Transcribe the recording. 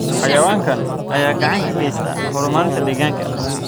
Xayawaankan ayaa gacan ka geysta horumarinta deegaanka.